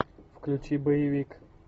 включи боевик